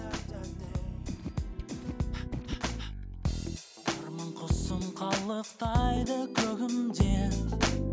арман құсым қалықтайды көгімде